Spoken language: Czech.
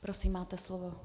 Prosím, máte slovo.